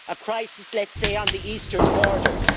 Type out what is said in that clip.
EU? A crisis, let's say, on the eastern borders.